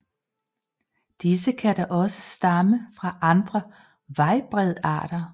Disse kan dog også stamme fra andre vejbredarter